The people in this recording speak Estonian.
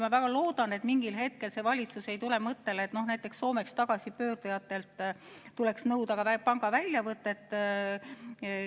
Ma väga loodan, et mingil hetkel see valitsus ei tule mõttele, et näiteks Soomest tagasipöördujatelt tuleks nõuda pangaväljavõtet.